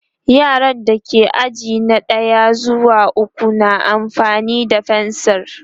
yaran da ke aji na ɗaya zuwa ukwu na amfani da fensir